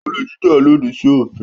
Olè jíjà lòdì sí òfin.